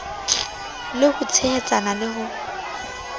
le ho tshehetsana le ho